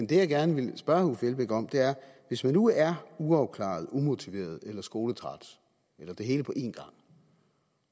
det jeg gerne vil spørge herre uffe elbæk om er hvis man nu er uafklaret umotiveret eller skoletræt eller det hele på en gang